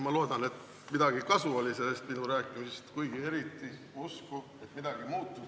Ma loodan, et midagi oli sellest minu rääkimisest kasu, kuigi ei ole eriti usku, et midagi muutub.